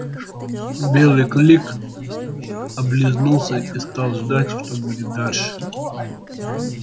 белый клык облизнулся и стал ждать что будет дальше